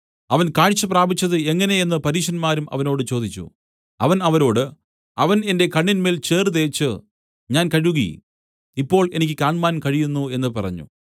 അവൻ കാഴ്ച പ്രാപിച്ചത് എങ്ങനെ എന്നു പരീശന്മാരും അവനോട് ചോദിച്ചു അവൻ അവരോട് അവൻ എന്റെ കണ്ണിന്മേൽ ചേറ് തേച്ച് ഞാൻ കഴുകി ഇപ്പോൾ എനിക്ക് കാണ്മാൻ കഴിയുന്നു എന്നു പറഞ്ഞു